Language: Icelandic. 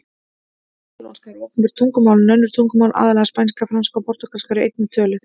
Katalónska er opinbert tungumál en önnur tungumál, aðallega spænska, franska og portúgalska, eru einnig töluð.